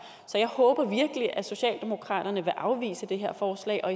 så jeg håber virkelig at socialdemokraterne vil afvise det her forslag og